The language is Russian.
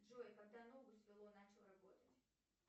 джой когда ногу свело начал работать